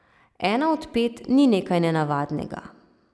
Ena od pet ni nekaj nenavadnega.